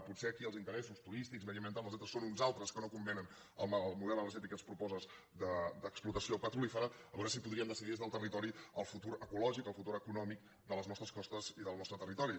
potser aquí els interessos turístics mediambientals són uns altres que no convenen amb el model energètic que ens proposes d’explotació pe·trolífera a veure si podríem decidir des del territori el futur ecològic el futur econòmic de les nostres costes i del nostre territori